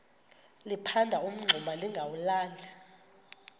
liphanda umngxuma lingawulali